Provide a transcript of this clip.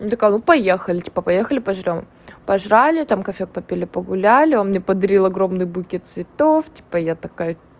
ну такая ну поехали типа поехали пожрём пожрали там кофеёк попили погуляли он мне подарил огромный букет цветов типа я такая